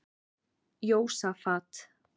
Jósafat